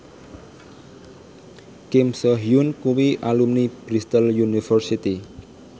Kim So Hyun kuwi alumni Bristol university